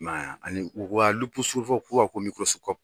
I ma y'a ani u surufa kura ko